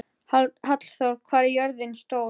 Hallþór, hvað er jörðin stór?